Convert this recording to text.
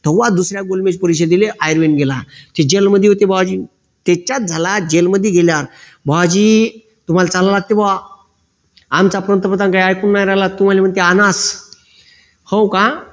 तेव्हा दुसऱ्या गोलबेज परीक्षेला गेला ते जैलमध्ये होते बुवाजी त्याच्यात झाला जैलमध्ये गेल्यावर बुवाजी तुम्हाला चांगले वाटते बुआ आमचा पंप्रधान काय ऐकून नाही राहीला हो का